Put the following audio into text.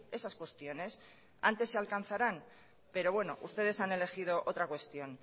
esas cuestiones antes se alcanzarán pero bueno ustedes han elegido otra cuestión